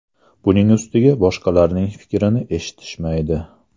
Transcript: Buning ustiga boshqalarning fikrini eshitishmaydi.